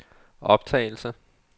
optagelse